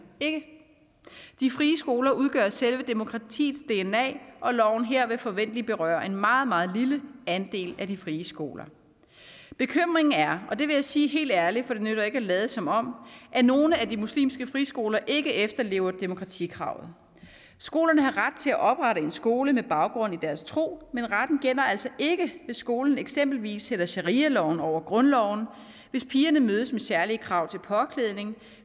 ikke de frie skoler udgør selve demokratiets dna og loven her vil forventeligt berøre en meget meget lille andel af de frie skoler bekymringen er og det vil jeg sige helt ærligt for det nytter ikke at lade som om at nogle af de muslimske friskoler ikke efterlever demokratikravet skolerne har ret til at oprette en skole med baggrund i deres tro men retten gælder altså ikke hvis skolen eksempelvis sætter sharialoven over grundloven hvis pigerne mødes med særlige krav til påklædning